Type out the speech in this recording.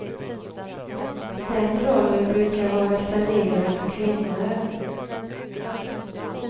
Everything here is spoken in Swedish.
Den rollen brukar vara reserverad för kvinnor.